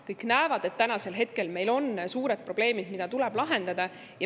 Kõik näevad, et meil on suured probleemid, mida tuleb lahendada.